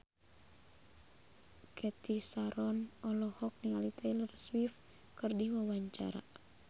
Cathy Sharon olohok ningali Taylor Swift keur diwawancara